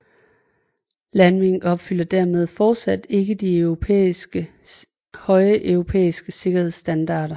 Landwind opfylder dermed fortsat ikke de høje europæiske sikkerhedsstandarder